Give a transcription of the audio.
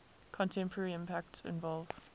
contemporary impacts involve